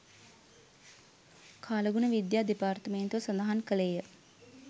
කාලගුණ විද්‍යා දෙපාර්තමේන්තුව සඳහන් කළේ ය